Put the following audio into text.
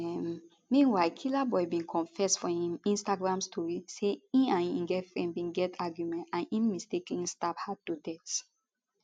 um meanwhile killaboi bin confess for im instagram story say e and im girlfriend bin get argument and im mistakenly stab her to death